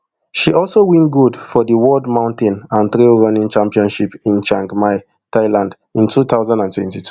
she also win gold for di world mountain and trail running championships in chiang mai thailand in two thousand and twenty-two